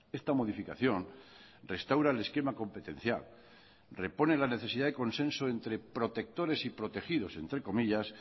esta modificación restaura el esquema competencial repone la necesidad de consenso entre protectores y protegidos entre comillas